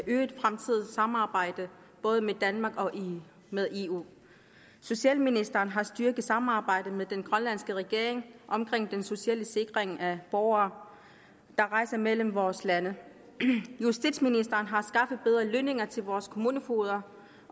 øget fremtidigt samarbejde både med danmark og med eu socialministeren har styrket samarbejdet med den grønlandske regering omkring den sociale sikring af borgere der rejser mellem vores lande justitsministeren har skaffet bedre lønninger til vores kommunefogeder